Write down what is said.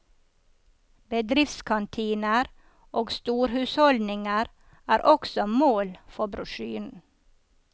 Bedriftskantiner og storhusholdninger er også mål for brosjyren.